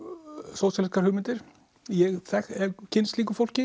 sósíalískar hugmyndir ég hef kynnst slíku fólki